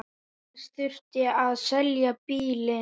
Næst þurfti að selja bílinn.